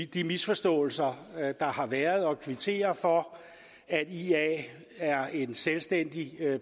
de misforståelser der har været og kvittere for at ia er en selvstændig